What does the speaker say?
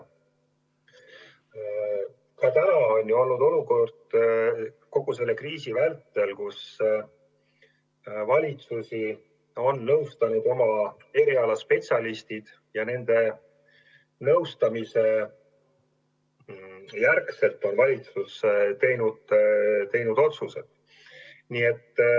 Ka seni on ju olukord kogu selle kriisi vältel olnud selline, et valitsust on nõustanud oma eriala spetsialistid ja nende nõustamise järgi on valitsus teinud otsuseid.